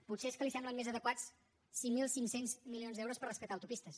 potser és que li semblen més adequats cinc mil cinc cents milions d’euros per rescatar autopistes